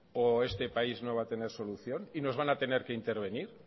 o este país no va a tener solución y nos van a tener que intervenir